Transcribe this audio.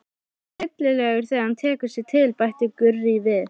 Alveg hryllilegur þegar hann tekur sig til, bætti Gurrý við.